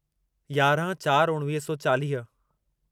यारहं चार उणिवीह सौ चालीह